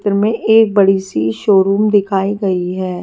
में एक बड़ी सी शोरूम दिखाई गई है।